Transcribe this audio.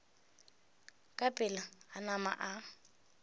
ka pela a nama a